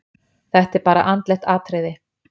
Þetta er bara andlegt atriði.